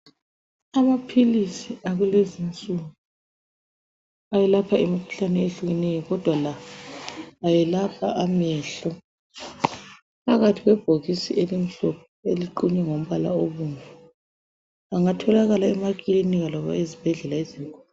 Amaphilizi akulezinsuku ayelapha imikhuhlane ehlukeneyo kodwa la ayelapha amehlo. Aphakathi kwebhokisi elimhlophe eliqunywe ngombala obomvu. Angatholakala emakilinika loba ezibhedlela ezinkulu.